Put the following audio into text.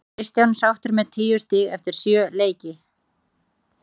Er Kristján sáttur með tíu stig eftir sjö leiki?